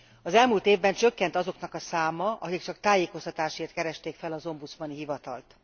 Az elmúlt évben csökkent azoknak a száma, akik csak tájékoztatásért keresték fel az ombudsmani hivatalt.